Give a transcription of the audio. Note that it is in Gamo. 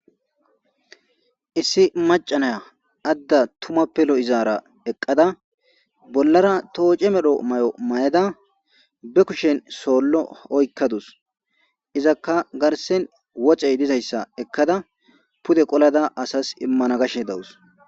issi macanaya adda tumappe lo izaara eqqada bollara tooce medho may7o mayeda be kushen soollo oykkadus izakka garsen wocey dizayssa ekkada pude qolada asas immana gashe dawus